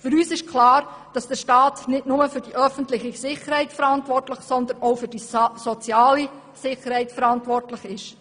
Für uns ist es klar, dass der Staat nicht nur für die öffentliche, sondern auch für die soziale Sicherheit verantwortlich ist.